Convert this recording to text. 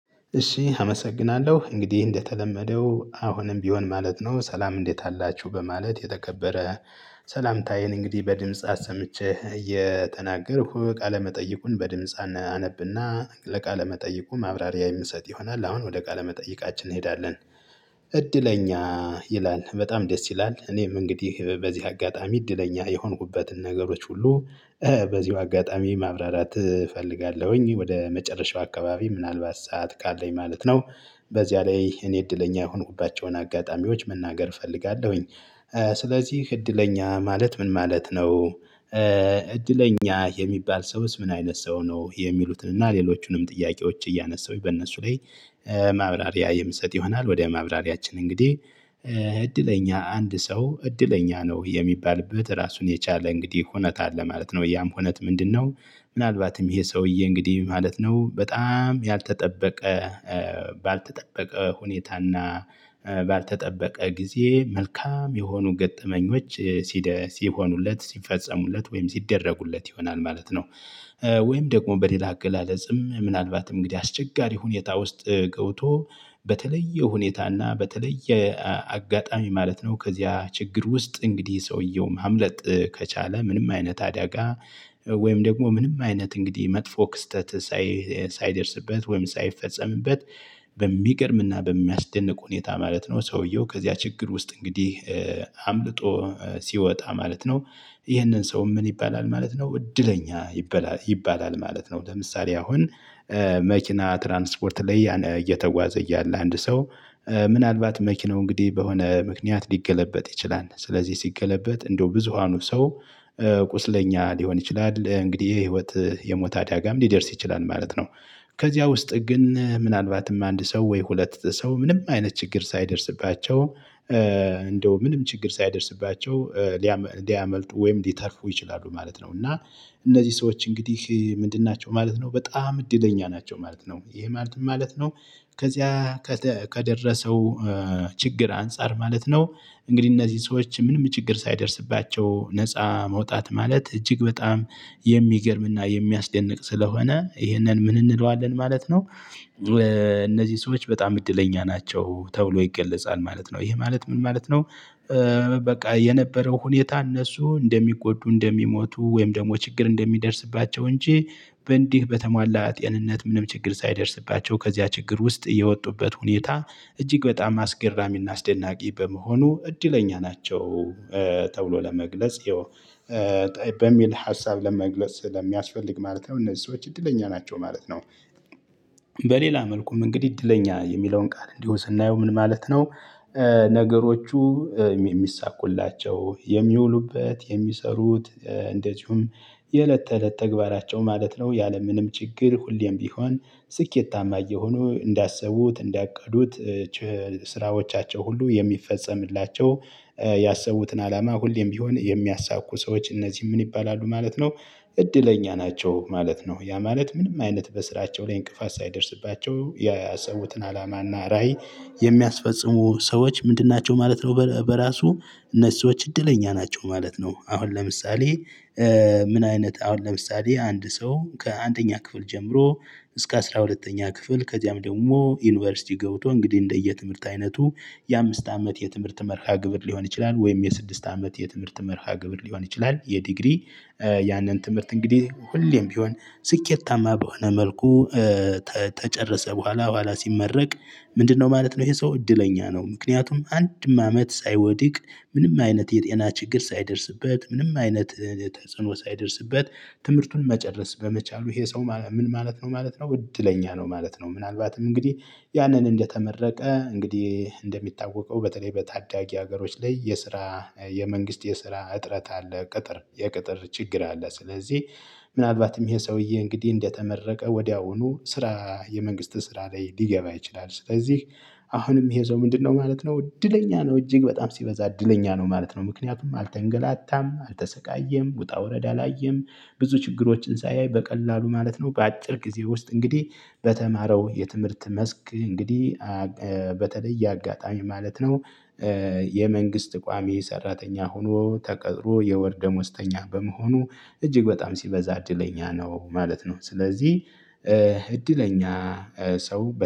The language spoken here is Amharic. እሺ አመሰግናለሁ እንግዲህ እንደተለመደው አሁንም ቢሆን ማለት ነው ሰላም እንዴት አላችሁ በማለት የተከበረ ሰላምታዬን እንግዲህ በድምፃት ሰምቼ የተናገርኩ ቃለመጠይቁን በድምጽ አነብና ለቃለመጠይቁ ማብራሪያ የምንሰጥ ይሆናል አሁን ወደ ቃለመጠይቃችን እንሄዳለን። እድለኛ ይላል በጣም ደስ ይላል እኔም እንግዲህ በዚህ አጋጣሚ እድለኛ የሆንኩበትን ነገሮች ሁሉ። በዚሁ አጋጣሚ ማብራራት እፈልጋለሁኝ ወደ መጨረሻው አካባቢ ምናልባት ሰዓት ካለኝ ማለት ነው። በዚያ ላይ እኔ እድለኛ የሆንኩባቸውን አጋጣሚዎች መናገር እፈልጋለሁኝ። ስለዚህ እድለኛ ማለት ምን ማለት ነው? እድለኛ የሚባል ሰውስ ምን አይነት ሰው ነው የሚሉትን እና ሌሎቹንም ጥያቄዎች እያነሳሁኝ በእነሱ ላይ። ማብራሪያ የምሰጥ ይሆናል። ወደ ማብራሪያችን እንግዲህ እድለኛ አንድ ሰው እድለኛ ነው የሚባልበት ራሱን የቻለ እንግዲህ ሁኔታ አለ ማለት ነው። ያም ሁኔታ ምንድነው? ምናልባትም ይሄ ሰውዬ እንግዲህ ማለት ነው በጣም ያልተጠበቀ። ባልተጠበቀ ሁኔታና። ባልተጠበቀ ጊዜ መልካም የሆኑ ገጠመኞች ሲደ ሲሆኑለት ሲፈጸሙለት ወይም ሲደረጉለት ይሆናል ማለት ነው። ወይም ደግሞ በሌላ አገላለጽም ምናልባት እንግዲህ አስቸጋሪ ሁኔታ ውስጥ ገውቶ በተለየ ሁኔታና በተለየ አጋጣሚ ማለት ነው። ከዚያ ችግር ውስጥ እንግዲህ ሰውየው ማምለጥ ከቻለ ምንም አይነት አደጋ። ወይም ደግሞ ምንም አይነት እንግዲህ መጥፎ ክስተት። ሳይደርስበት ወይም ሳይፈጸምበት። በሚገርም እና በሚያስደንቅ ሁኔታ ማለት ነው። ሰውየው ከዚያ ችግር ውስጥ እንግዲህ አምልጦ ሲወጣ ማለት ነው። ይህንን ሰው ምን ይባላል ማለት ነው? እድለኛ ይባላል ማለት ነው። ለምሳሌ አሁን። መኪና ትራንስፖርት ላይ እየተጓዘ እያለ አንድ ሰው ምናልባት መኪናው እንግዲህ በሆነ ምክንያት ሊገለበጥ ይችላል። ስለዚህ ሲገለበጥ እንደው ብዙሃኑ ሰው ቁስለኛ ሊሆን ይችላል። እንግዲህ የህይወት የሞት አዳጋም ሊደርስ ይችላል ማለት ነው። ከዚያ ውስጥ ግን ምናልባትም አንድ ሰው ወይ ሁለት ሰው ምንም አይነት ችግር ሳይደርስባቸው እንደው ምንም ችግር ሳይደርስባቸው ሊያመልጡ ወይም ሊተርፉ ይችላሉ ማለት ነው። እና እነዚህ ሰዎች እንግዲህ ምንድን ናቸው? ማለት ነው በጣም እድለኛ ናቸው ማለት ነው። ይሄ ማለት ምን ማለት ነው? ከዚያ ከደረሰው ችግር አንፃር ማለት ነው። እንግዲህ እነዚህ ሰዎች ምንም ችግር ሳይደርስባቸው ነፃ መውጣት ማለት እጅግ በጣም የሚገርምና የሚያስደንቅ ስለሆነ ይሄንን ምን እንለዋለን ማለት ነው? እነዚህ ሰዎች በጣም እድለኛ ናቸው ተብሎ ይገለጻል ማለት ነው። ይሄ ማለት ምን ማለት ነው? በቃ የነበረው ሁኔታ እነሱ እንደሚጎዱ እንደሚሞቱ ወይም ደግሞ ችግር እንደሚደርስባቸው እንጂ በእንዲህ በተሟላ ጤንነት ምንም ችግር ሳይደርስባቸው ከዚያ ችግር ውስጥ የወጡበት ሁኔታ እጅግ በጣም አስገራሚና አስደናቂ በመሆኑ እድለኛ ናቸው። ተብሎ ለመግለጽ ይኸው በሚል ሀሳብ ለመግለጽ ለሚያስፈልግ ማለት ነው። እነዚህ ሰዎች እድለኛ ናቸው ማለት ነው። በሌላ መልኩም እንግዲህ እድለኛ የሚለውን ቃል እንዲሆን ስናየው ምን ማለት ነው? ነገሮቹ የሚሳኩላቸው የሚውሉበት የሚሰሩት የእለት ተእለት ተግባራቸው ማለት ነው። ያለምንም ችግር ሁሌም ቢሆን ስኬታማ እየሆኑ እንዳሰቡት እንዳቀዱት ስራዎቻቸው ሁሉ የሚፈጸምላቸው ያሰቡትን አላማ ሁሌም ቢሆን የሚያሳኩ ሰዎች እነዚህ ምን ይባላሉ ማለት ነው? እድለኛ ናቸው ማለት ነው። ያ ማለት ምንም አይነት በስራቸው ላይ እንቅፋት ሳይደርስባቸው ያሰቡትን አላማና ራዕይ የሚያስፈጽሙ ሰዎች ምንድን ናቸው ማለት ነው? በራሱ እነሱ ሰዎች እድለኛ ናቸው ማለት ነው። አሁን ለምሳሌ። ምን አይነት አሁን ለምሳሌ አንድ ሰው ከአንደኛ ክፍል ጀምሮ እስከ አስራ ሁለተኛ ክፍል ከዚያም ደግሞ ዩኒቨርሲቲ ገብቶ እንግዲህ እንደየ ትምህርት አይነቱ የአምስት አመት የትምህርት መርሃ ግብር ሊሆን ይችላል። ወይም የስድስት አመት የትምህርት መርሃ ግብር ሊሆን ይችላል። የዲግሪ ያንን ትምህርት እንግዲህ ሁሌም ቢሆን ስኬታማ በሆነ መልኩ ተጨረሰ በኋላ በኋላ ሲመረቅ። ምንድነው ማለት ነው? ይሄ ሰው እድለኛ ነው። ምክንያቱም አንድም አመት ሳይወድቅ ምንም አይነት የጤና ችግር ሳይደርስበት ምንም አይነት ተጽዕኖ ሳይደርስበት ትምህርቱን መጨረስ በመቻሉ ይሄ ሰው ምን ማለት ነው ማለት ነው እድለኛ ነው ማለት ነው። ምናልባትም እንግዲህ ያንን እንደተመረቀ እንግዲህ እንደሚታወቀው በተለይ በታዳጊ ሀገሮች ላይ የስራ የመንግስት የስራ እጥረት አለ። ቅጥር የቅጥር ችግር አለ። ስለዚህ ምናልባትም ይሄ ሰውዬ እንግዲህ እንደተመረቀ ወዲያውኑ ስራ የመንግስት ስራ ላይ ሊገባ ይችላል። ስለዚህ አሁንም የሄደው ምንድነው ማለት ነው? እድለኛ ነው እጅግ በጣም ሲበዛ እድለኛ ነው ማለት ነው። ምክንያቱም አልተንገላታም አልተሰቃየም ውጣ ውረድ አላየም። ብዙ ችግሮችን ሳያይ በቀላሉ ማለት ነው። በአጭር ጊዜ ውስጥ እንግዲህ በተማረው የትምህርት መስክ እንግዲህ በተለይ አጋጣሚ ማለት ነው። የመንግስት ቋሚ ሰራተኛ ሆኖ ተቀጥሮ የወር ደሞዝተኛ በመሆኑ እጅግ በጣም ሲበዛ እድለኛ ነው ማለት ነው። ስለዚህ እድለኛ ሰው